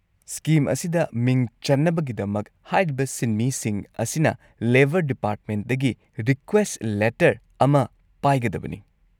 Scheme ꯑꯁꯤꯗ ꯃꯤꯡ ꯆꯟꯅꯕꯒꯤꯗꯃꯛ ꯍꯥꯏꯔꯤꯕ ꯁꯤꯟꯃꯤꯁꯤꯡ ꯑꯁꯤꯅ ꯂꯦꯕꯔ ꯗꯤꯄꯥꯔꯠꯃꯦꯟꯗꯒꯤ ꯔꯤꯀ꯭ꯋꯦꯁꯠ ꯂꯦꯇꯔ ꯑꯃ ꯄꯥꯏꯒꯗꯕꯅꯤ꯫